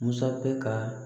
Masakɛ ka